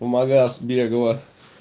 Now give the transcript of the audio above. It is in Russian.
в магаз бегала